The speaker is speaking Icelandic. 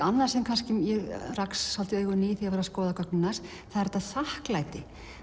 annað sem ég rak svolítið augun í þegar ég var að skoða gögnin hans það er þakklæti